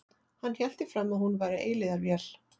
Hann hélt því fram að hún væri eilífðarvél.